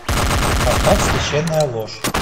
поставь священная ложь